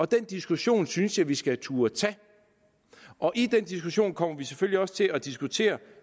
diskussion synes jeg at vi skal turde tage og i den diskussion kommer vi selvfølgelig også til at diskutere